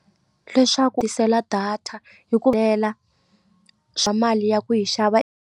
Leswaku tisela data hi ku swa mali ya ku yi xava.